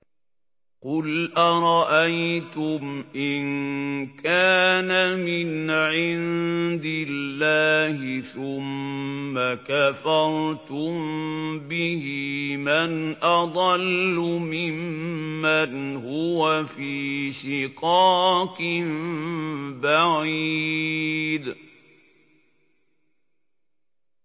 قُلْ أَرَأَيْتُمْ إِن كَانَ مِنْ عِندِ اللَّهِ ثُمَّ كَفَرْتُم بِهِ مَنْ أَضَلُّ مِمَّنْ هُوَ فِي شِقَاقٍ بَعِيدٍ